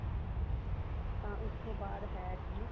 ਤਾਂ ਉਸ ਤੋਂ ਬਾਅਦ ਹੈ ਜੀ